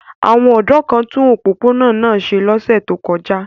Àwọn ọ̀dọ́ kan tún opopona náa ṣe lọ́sẹ̀ tó kọjá.